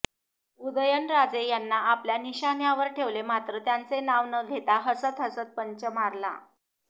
उदयनराजे यांना आपल्या निशाण्यावर ठेवले मात्र त्यांचे नाव न घेता हसत हसत पंच मारला